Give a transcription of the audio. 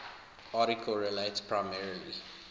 article relates primarily